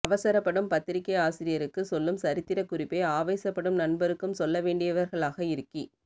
அவசரப்படும் பத்திரிகை ஆசிரியருக்கு சொல்லும் சரித்திரக் குறிப்பை ஆவேசப் படும் நண்பருக்கும் சொல்ல வேண்டியவர்களாக இருக்கி